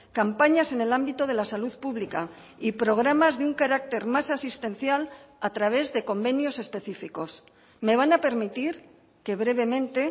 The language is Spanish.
campañas en el ámbito de la salud pública y programas de un carácter más asistencial a través de convenios específicos me van a permitir que brevemente